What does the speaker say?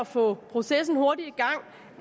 få processen hurtigt